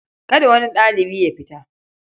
Kada wani ɗalibi ya fita.